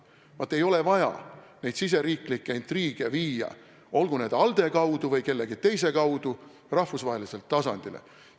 Vaat ei ole vaja neid riigisiseseid intriige viia, olgu ALDE kaudu või kuidagi muudmoodi, rahvusvahelisele tasandile.